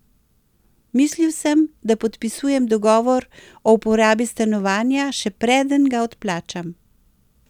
Mislil sem da podpisujem dogovor o uporabi stanovanja še preden ga odplačam.